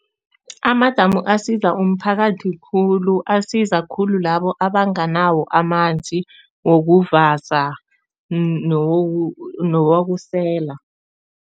Amadamu asiza umphakathi khulu, asiza khulu labo abanganawo amanzi wokuvasa newokusela.